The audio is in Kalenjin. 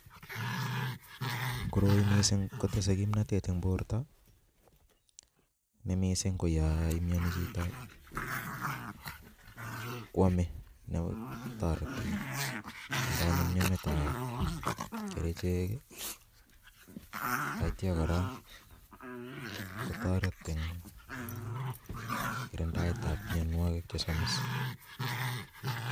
Koroi missing kotesei kimnatet eng borto ne missing ko ya imieni chito kwomei netoreti eng kanyunyumetab kerichek atya kora kotoret eng kirindaetab mienwogik che somis.